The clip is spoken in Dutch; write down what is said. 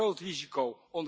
Dat is een groot risico.